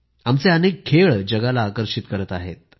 आमचे अनेक खेळ जगाला आकर्षित करत आहेत